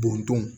Bɔntɔn